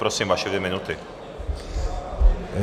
Prosím, vaše dvě minuty.